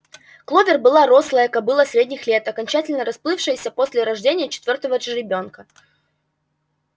кловер была рослая кобыла средних лет окончательно расплывшаяся после рождения четвёртого жеребёнка